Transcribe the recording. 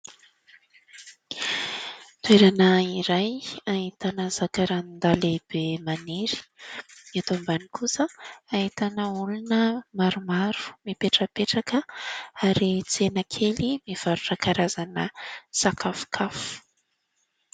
Toerana iray, ahitana zakarandaha lehibe maniry. Eto ambany kosa ahitana olona maromaro mipetrapetraka ary tsena kely mivarotra karazana sakafokafo.